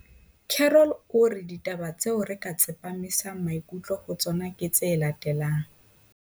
Carroll o re ditaba tseo re ka tsepamisang maikutlo ho tsona ke tse latelang.